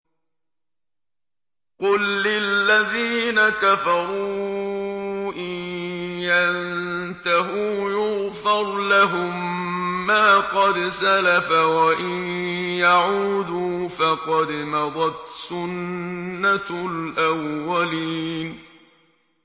قُل لِّلَّذِينَ كَفَرُوا إِن يَنتَهُوا يُغْفَرْ لَهُم مَّا قَدْ سَلَفَ وَإِن يَعُودُوا فَقَدْ مَضَتْ سُنَّتُ الْأَوَّلِينَ